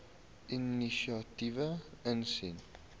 inisiatiewe insien